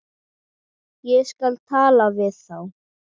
Ég skal tala við þá.